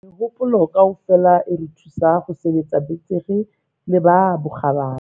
Mehopolo kaofela e re thusa ho sebetsa betere le ka bokgabane.